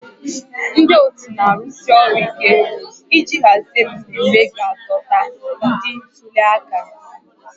Ndị otu na-arụsi ọrụ ike iji hazie mmemme ga-adọta ndị ntuli aka